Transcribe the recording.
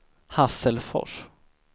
Hasselfors